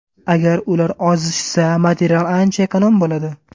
Agar ular ozishsa material ancha ekonom bo‘ladi.